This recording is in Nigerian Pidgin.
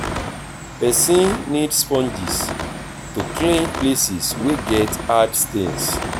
person need sponges to clean places wey get hard stains